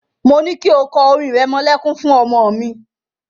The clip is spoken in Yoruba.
Mo ní kí o kọ orin ìrẹmọlẹ́kún fún ọmọ mi.